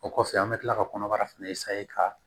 O kɔfɛ an bɛ tila ka kɔnɔbara fana ka